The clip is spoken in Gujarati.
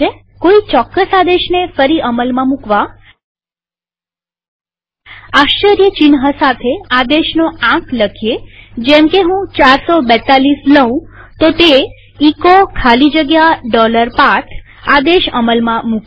કોઈ ચોક્કસ આદેશને ફરી અમલમાં મુકવા આશ્ચર્યચિહ્ન સાથે આદેશનો આંક લખો જેમકે હું 442 લઉં તો તે એચો ખાલી જગ્યા path આદેશ અમલમાં મુકે છે